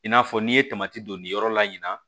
I n'a fɔ n'i ye don nin yɔrɔ la in na